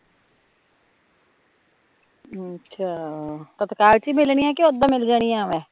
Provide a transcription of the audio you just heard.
ਅੱਛਾ, ਤਤਕਾਲ ਚ ਹੀਂ ਮਿਲਣੀਆ ਕੀ ਓਦਾ ਮਿਲ ਜਾਣੀਆ ਅਵੇ